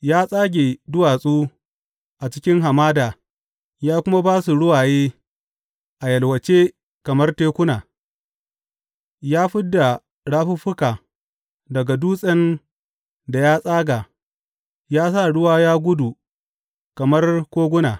Ya tsage duwatsu a cikin hamada ya kuma ba su ruwaye a yalwace kamar tekuna; ya fid da rafuffuka daga dutsen da ya tsaga ya sa ruwa ya gudu kamar koguna.